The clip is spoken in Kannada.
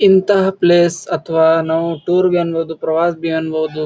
ಇಂತಹ ಪ್ಲೇಸ್ ಅಥವಾ ನಾವು ಟೂರ್ ಅನ್ಬಹುದು ಪ್ರವಾಸಿ ಅನ್ಬಹುದು --